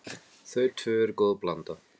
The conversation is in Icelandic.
Þau tvö eru góð blanda.